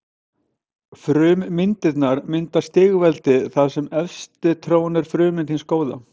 Frummyndirnar mynda stigveldi þar sem efst trónir frummynd hins góða.